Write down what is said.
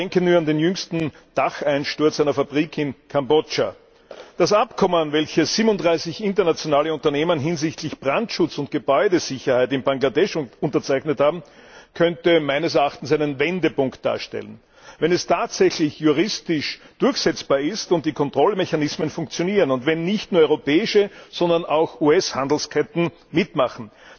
Man denke nur an den jüngsten Dacheinsturz einer Fabrik in Kambodscha. Das Abkommen, welches 37 internationale Unternehmen hinsichtlich Brandschutz und Gebäudesicherheit in Bangladesch unterzeichnet haben, könnte meines Erachtens einen Wendepunkt darstellen, wenn es tatsächlich juristisch durchsetzbar ist und die Kontrollmechanismen funktionieren und wenn nicht nur europäische, sondern auch US Handelsketten mitmachen.